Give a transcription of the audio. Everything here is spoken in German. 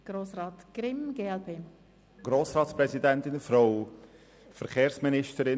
Ich möchte nur kurz etwas zu Punkt 4 sagen.